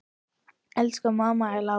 Elsku mamma er látin.